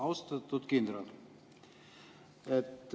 Austatud kindral!